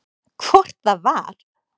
Hvort það var!